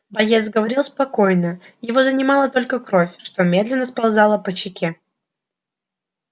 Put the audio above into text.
боец говорил спокойно его занимала только кровь что медленно сползала по щеке